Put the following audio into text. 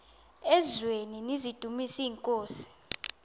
eziaweni nizidumis iinkosi